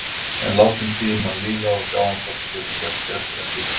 En látum tímann líða og sjáum hvort við getum gert betur en síðast.